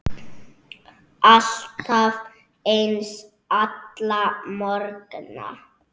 Alltaf eins, alla morgna.